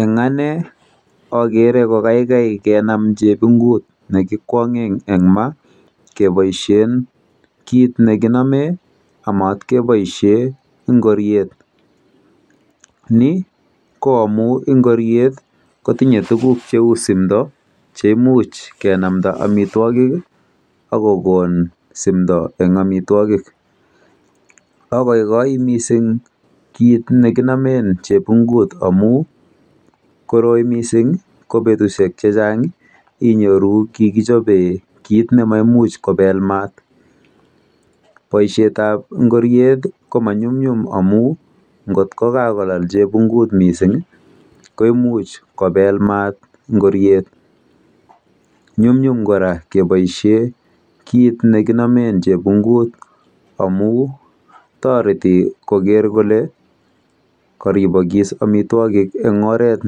Eng ane akere kokaikai kenam chebingut nekiboishe eng ma keboishen kit nekinome amat keboishe ngoriet. Ni ko amu ngoriet kotinye tuguk cheu simdo cheimuch kenamda amitwokik akokon simdo eng amitwokik. Akoikoi mising kit nekinomen chepingut amu koroi mising ko betushek chechang inyoru kikichope kit nemaimuch kopel mat. Poishetap ngorie ko manyumnyum amu ngot kokakolal chepingut mising ko imuch kopel mat ngoriet. Nyumnyum, kora keboishe kit nekibposhen kenome chepingut amun toreti koker kole karibokis amitwokik eng oret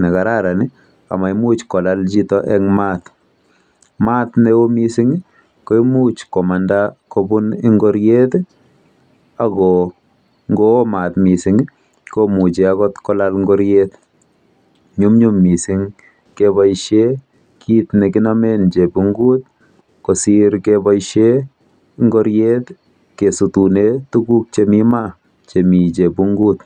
nekararan amaimuch kolal chito eng mat. Mat neo mising ko imuch komanda kobun ingoriet ako ngoo mat mising komuchi kolal akot ngoriet. Nyumnyum mising keboishe kit nekinome chebingut kosir keboishe ngoriet kesutune tuguk chemi ma chemi chebingut.